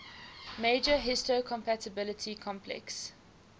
major histocompatibility complex